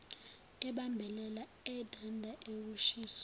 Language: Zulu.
ebambelela edanda ukushiso